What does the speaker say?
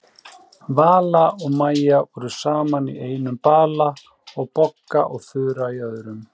Vala og Maja voru saman í einum bala og Bogga og Þura í öðrum.